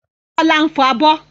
Bọ́lá ń fọ abọ́.